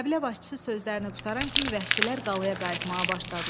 Qəbilə başçısı sözlərini qurtaran kimi vəhşilər qalaya qayıtmağa başladılar.